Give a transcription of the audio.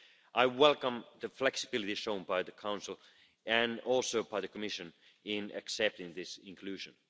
I welcome the flexibility shown by the Council, and also by the Commission, in accepting this inclusion.